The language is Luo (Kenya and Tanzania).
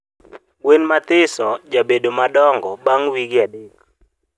gwen mathiso jabedo madong bang wige adek